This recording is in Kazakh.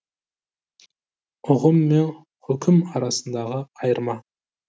ұғым мен хұкім арасындағы айырма